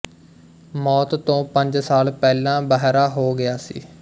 ਮੌਤ ਤੋਂ ਪੰਜ ਸਾਲ ਪਹਿਲਾਂ ਬਹਰਾ ਹੋ ਗਿਆ ਸੀ